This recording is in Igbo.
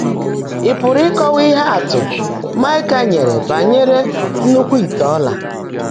Ị̀ pụ́rụ́ ị́kọ́waá íhe ạ́tụ́ Máịkà nyèèré bányèré nnúkúwú íte ọ́là́?